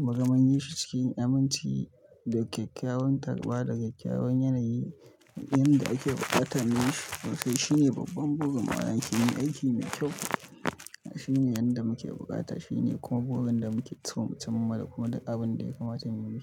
Mugan mun yishi cikin aminci, da kyakkyawan tarba, da kyakkyawan yanayi, inda ake buƙatar mu. Sai shine babban burin mu a aiki mai kyau. Shi ne inda muke buƙata. Shi ne kuma burin da muke so mu cimma, da kuma abin da ya kamata mu yi.